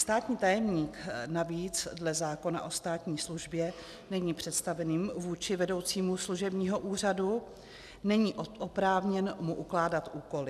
Státní tajemník navíc dle zákona o státní službě není představeným vůči vedoucímu služebního úřadu, není oprávněn mu ukládat úkoly.